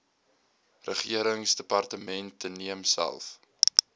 regeringsdepartemente neem self